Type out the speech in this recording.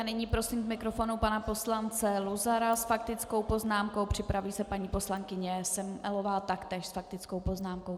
A nyní prosím k mikrofonu pana poslance Luzara s faktickou poznámkou, připraví se paní poslankyně Semelová, taktéž s faktickou poznámkou.